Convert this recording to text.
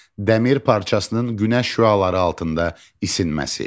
Dəmir parçasının günəş şüaları altında isinməsi.